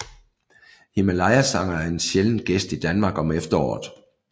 Himalayasanger er en sjælden gæst i Danmark om efteråret